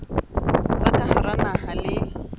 tsa ka hara naha le